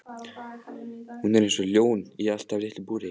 Hún er eins og ljón í allt of litlu búri!